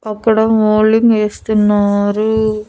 అక్కడ మొల్డింగ్ ఏస్తున్నారు.